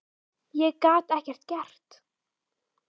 Ég gat ekki gert það.